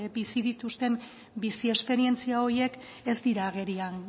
bizi dituzten bizi esperientzia horiek ez dira agerian